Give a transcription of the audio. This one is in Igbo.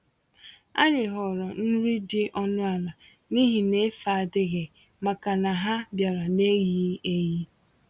Anyị họọrọ nri dị ọnụ ala, n'ihi n'efe adịghị, màkà na ha biara n'eyighi-eyi.